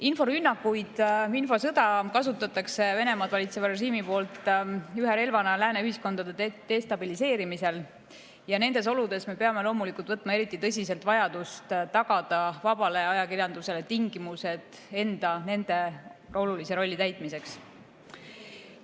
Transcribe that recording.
Inforünnakuid, infosõda kasutab Venemaad valitsev režiim ühe relvana lääne ühiskondade destabiliseerimiseks ja nendes oludes me peame loomulikult suhtuma eriti tõsiselt vajadusse tagada vabale ajakirjandusele tingimused enda olulise rolli täitmiseks.